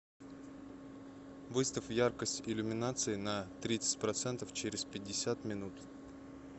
выставь яркость иллюминации на тридцать процентов через пятьдесят минут